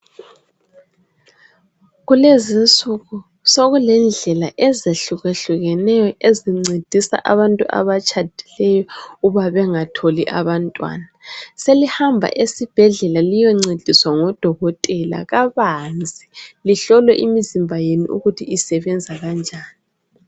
Kulezinsuku zokulendlela ezehlukehlukeneyo ezincedisa abantu abatshadileyo ukuba bengatholi abantwana selihamba esibhedlela liyencediswa ngudokotela kabanzi lihlolwe imizimba yenu ukuthi isebenza kanjani.